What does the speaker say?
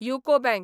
UCO bank